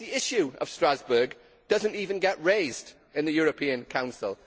Yet the issue of Strasbourg does not even get raised in the European Council!